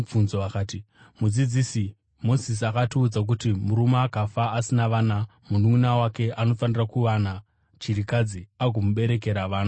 Vakati, “Mudzidzisi, Mozisi akatiudza kuti murume akafa asina vana mununʼuna wake anofanira kuwana chirikadzi agomuberekera vana.